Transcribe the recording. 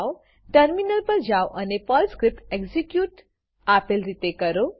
terminal પર જાઓ અને પર્લ સ્ક્રીપ્ટ એક્ઝીક્યુટ આપેલ રીતે કરો